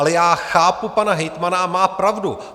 Ale já chápu pana hejtmana, a má pravdu.